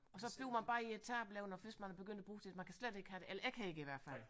Og så bliver man bare irritabel ik hvis man er begyndt at bruge man kan slet ikke have det eller jeg kan ikke i hvert fald